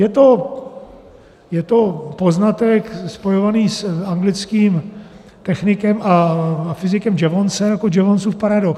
Je to poznatek spojovaný s anglickým technikem a fyzikem Jevonsem jako Jevonsův paradox.